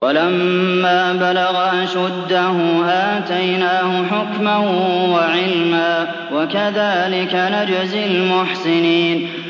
وَلَمَّا بَلَغَ أَشُدَّهُ آتَيْنَاهُ حُكْمًا وَعِلْمًا ۚ وَكَذَٰلِكَ نَجْزِي الْمُحْسِنِينَ